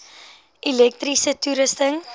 elektriese toerusting